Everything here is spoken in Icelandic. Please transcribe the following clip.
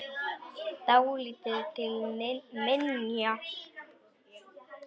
Dálítið til minja.